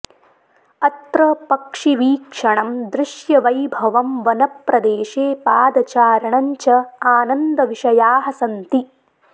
अत्र पक्षिवीक्षणं दृश्यवैभवं वनप्रदेशे पादचारणं च आनन्दविषयाः सन्ति